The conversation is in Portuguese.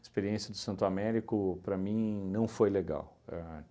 A experiência de Santo Américo, para mim, não foi legal. Ahn